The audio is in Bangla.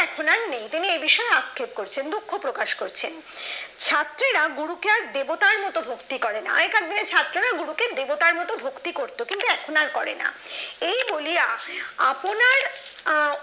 কৃমি এ বিষয়ে আক্ষেপ করছেন দুঃখ প্রকাশ করছেন ছাত্ররা গুরু কে আর দেবতার মত ভক্তি করেনা আইকার দিনে ছাত্ররা গ্রুপে দেবতার মত ভক্তি করত কিন্তু এখন আর করে না এই বলিয়া আপনার আহ